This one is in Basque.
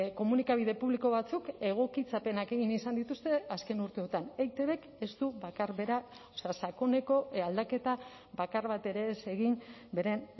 komunikabide publiko batzuk egokitzapenak egin izan dituzte azken urteotan eitbk ez du bakar bera sakoneko aldaketa bakar bat ere ez egin beren